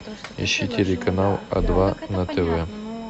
ищи телеканал а два на тв